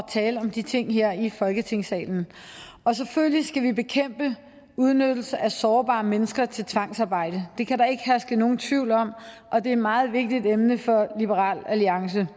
tale om de ting her i folketingssalen og selvfølgelig skal vi bekæmpe udnyttelse af sårbare mennesker til tvangsarbejde det kan der ikke herske nogen tvivl om og det er et meget vigtigt emne for liberal alliance